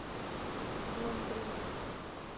лондрина